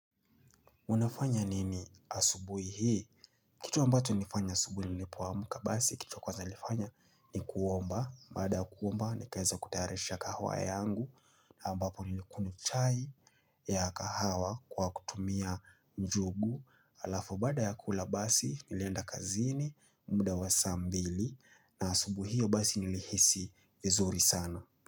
Unafanya nini asubuhi hii? Kitu ambacho nilifanya asubuhi nilipoamka basi, kitu ya kwanza nilifanya ni kuomba. Baada ya kuomba, nikaeza kutayarisha kahawa yangu. Na ambapo nilikunywa chai ya kahawa kwa kutumia njugu. Alafu baada ya kula basi, nilenda kazini, muda wa saa mbili. Na asubuhi hio basi nilihisi vizuri sana.